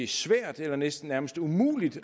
svært eller næsten nærmest umuligt